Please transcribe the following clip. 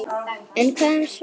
En hvað um svefn?